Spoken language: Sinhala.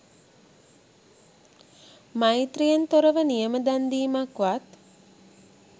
මෛත්‍රීයෙන් තොරව නියම දන් දීමක්වත්